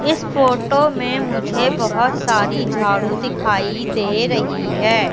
इस फोटो में मुझे बहुत सारी झाड़ू दिखाई दे रही है।